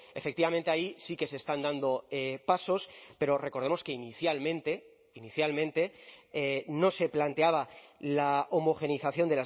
efectivamente ahí sí que se están dando pasos pero recordemos que inicialmente inicialmente no se planteaba la homogeneización